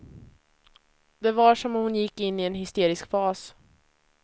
Det var som om hon gick in i en hysterisk fas.